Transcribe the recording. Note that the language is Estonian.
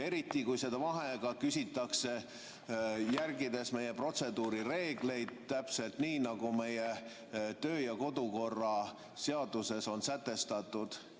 Eriti, kui seda vaheaega küsitakse, järgides meie protseduurireegleid täpselt nii, nagu kodukorraseaduses on sätestatud.